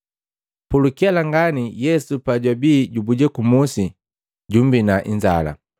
Pulukela ngani Yesu pajwabi jubuja ku musi, jummbina inzala.